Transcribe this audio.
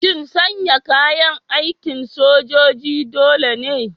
Shin sanya kayan aikin sojoji dole ne?